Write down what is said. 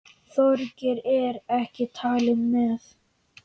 Þorgeir er ekki talinn með.